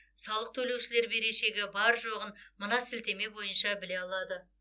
салық төлеушілер берешегі бар жоғын мына сілтеме бойынша біле алады